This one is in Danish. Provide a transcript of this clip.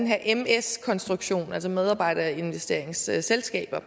her ms konstruktion altså medarbejderinvesteringsselskaber og